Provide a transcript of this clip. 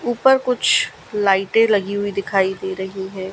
ऊपर कुछ लाइटे लगी हुई दिखाई दे रही है।